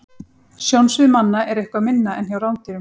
Sjónsvið manna er eitthvað minna en hjá rándýrum.